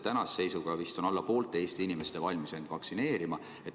Tänase seisuga on vist alla poole Eesti inimestest valmis end vaktsineerida laskma.